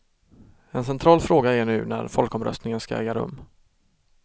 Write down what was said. En central fråga är nu när folkomröstningen ska äga rum.